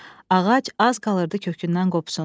Ağac az qalırdı kökündən qopsun.